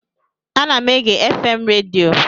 Ana m ege FM redio